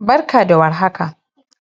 Barka da war haka,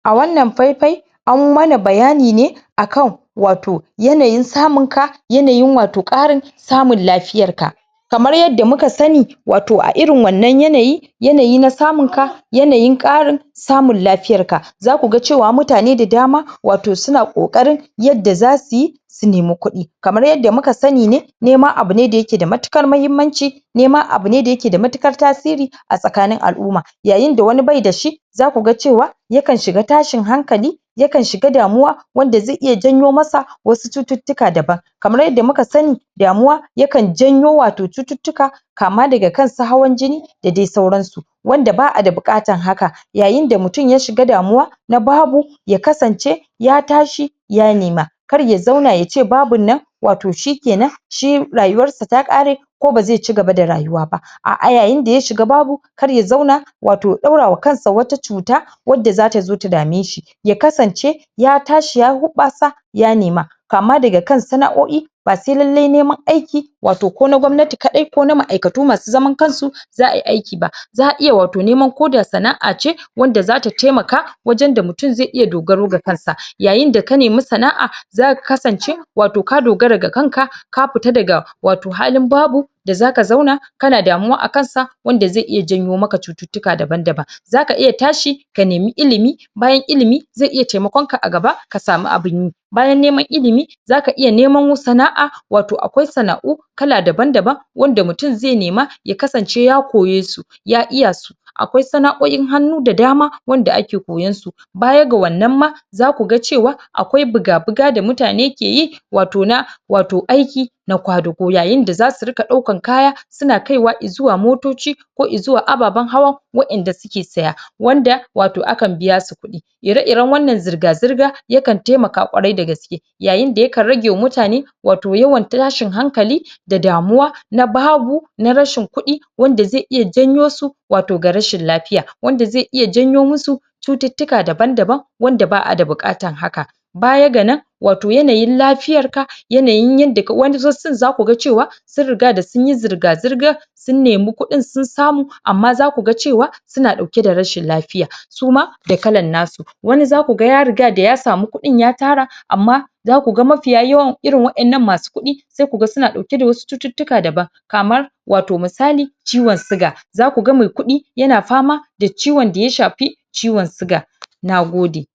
a wannan pai-pai, an mana bayani be akan wato yanayin samun ka, yanayiin wato ƙarin samun lafiyar ka. Kamar yadda muka sani wato a irin wannan yanayi yanayi na samun ka yanayin ƙarin samun lafiyarka, za kuga cewa mutane da dama wato suna ƙokarin yadda za suyi su nema kuɗi. Kamar yadda muka sani ne nema abune da yake da matuƙar mahimmanci, nema abune da yake da matuƙar tasiriri, a tsakanin al'umma. Yayinda wani bai da shi za kuga cewa yakan shiga tashin hankali yakan shiga damuwa wanda ze iya janyo masa wasu cututtuka daban, kamar yadda muka sani damuwa yakan janyo wato cututtuka kama daga kansu hawan jini da dai suransu. Wanda ba'a da buƙatan haka yayinda mutum ya shiga damuwa na babu ya kasance ya tashi ya nema. Kar ya zauna yace babunnan wato shi kenan shi rayuwar sa ta ƙare ko baze cigaba da rayuwa ba a'a yayinda ya shiga babu kar ya zauna wato ya ɗaura wa kansa wata cuta wadda zatazo ta dame shi. Ya kasance ya tashi ya huɓasa ya nema. Kama daga kan sana'o'i ba se lallai neman aiki wato ko na gwamnati ƙadai ko na ma'aikatu masu zaman kansu za ayi aiki ba, za'a iya wato neman ko da sana'a ce wadda zata taimaka wajan da mutum zai iya dogaro da kansa. Yayinda ka nemi sana'a zaka kasanc wato ka dogara da kanka ka pita daga wato halin babu da zaka zauna kana damuwa akan sa wanda ze iya janyo maka cututtuka daban-daban. Zaka iya tashi ka nemi ilimi, bayan ilimi ze iya taimakonka a gaba ka samu abinyi, bayan neman ilimi zaka iya neman sana'a wato akwai sana'u kala daban-daban wadda mutum ze nema ya kasance ya koye su ya iya su. Akwai sana'o'in hannu da dama wanda ake koyansu, baya ga wannan ma za kuga cewa akwai buga-buga da mutane keyi wato na wato aiki na kwadugo yayinda zasu rika ɗaukan kaya, suna kaiwa izuwa motoci ko izuwa ababan hawan wa'inda suke siya, wanda wato akan biya su kuɗi ire-iren wannan zirga-zirga yakan taimaka ƙwarai da gaske yayinda yakan ragewa mutane wato yawan tashin hankali da damuwa na babu, na rashin kuɗi, wanda ze iya janyo su wato ga rashin lapiya wanda ze iya janyo musu cututtuka daban-daban wanada ba'a da buƙatan haka. Baya ga nan wato yanayin lafiyar ka, yanayin yadda ka wani zakuga cewa sun rigada sunyi zirga-zirga sun nemi kuɗn sun samu amma za kuga cewa suna ɗauke da rashin lapiya suma da kalan nasu, wani zaku ga ya rigada ya samu kuɗin ya tara amma za kuga mafiya yawan irin wa'innan masu kuɗi sai kuga suna ɗauke da wasu cututtuka daban kamar wato misali ciwon siga, za kuga mai kuɗi yana fama da ciwon daya shapi ciwon siga, nagode.